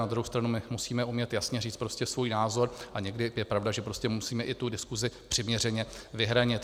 Na druhou stranu my musíme umět jasně říct prostě svůj názor, a někdy je pravda, že prostě musíme i tu diskusi přiměřeně vyhranit.